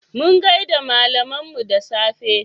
Mun gaida malaminmu da safe.